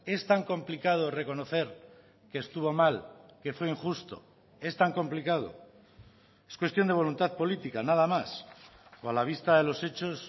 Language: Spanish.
es tan complicado reconocer que estuvo mal que fue injusto es tan complicado es cuestión de voluntad política nada más o a la vista de los hechos